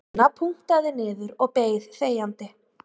Anna punktaði niður og beið þegjandi